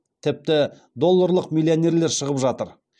тіпті долларлық миллионерлер шығып жатыр